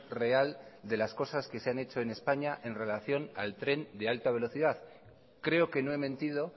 real de las cosas que se han hecho en españa en relación al tren de alta velocidad creo que no he mentido